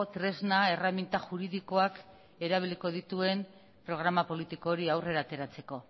tresna erreminta juridikoak erabiliko dituen programa politiko hori aurrera ateratzeko